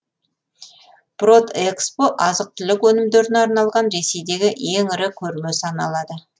продэкспо азық түлік өнімдеріне арналған ресейдегі ең ірі көрме саналады